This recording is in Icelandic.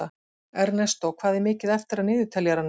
Ernestó, hvað er mikið eftir af niðurteljaranum?